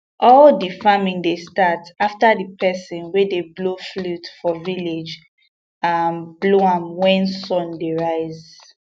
all the farming dey start after the person wey dey blow flute for village um blow am when sun dey rise